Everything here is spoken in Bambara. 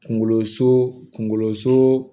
Kunkolo so kunkolo so